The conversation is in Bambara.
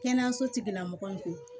Kɛnɛyaso tigila mɔgɔw ko